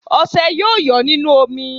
Ọṣẹ́ yóò yọ́ nínú omi